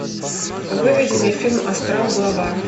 выведи мне фильм астрал глава